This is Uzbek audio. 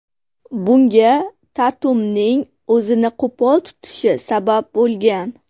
Bunga Tatumning o‘zini qo‘pol tutishi sabab bo‘lgan.